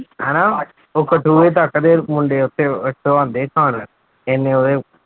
ਹਨਾ ਉਹ ਤੱਕ ਦੇ ਮੁੰਡੇ ਉੱਥੇ ਤੋਂ ਆਉਂਦੇ ਖਾਣ, ਇੰਨੇ ਉਹਦੇ